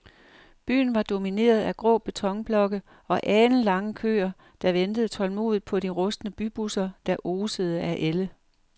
Byen var domineret af grå betonblokke og alenlange køer, der ventede tålmodigt på de rustne bybusser, der osede af ælde.